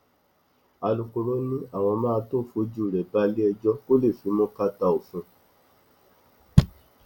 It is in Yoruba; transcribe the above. alūkkóró ni àwọn máa tóó fojú rẹ balẹẹjọ kó lè fimú kàtà òfin